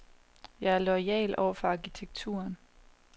Jeg er loyal over for arkitekturen.